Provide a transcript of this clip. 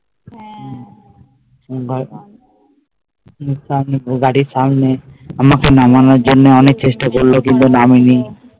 গাড়ির সামনে আমাকে নামানোর জন্য অনেক চেষ্টা করলো কিন্তু নামিনি